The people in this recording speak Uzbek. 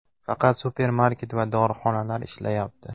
Faqat supermarket va dorixonalar ishlayapti.